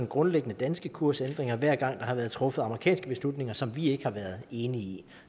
grundlæggende danske kursændringer hver gang der har været truffet amerikanske beslutninger som vi ikke har været enige i